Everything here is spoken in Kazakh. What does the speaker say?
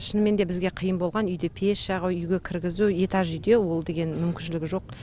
шынымен де бізге қиын болған үйде пеш жағу үйге кіргізу этаж үйде ол деген мүмкіншілігі жоқ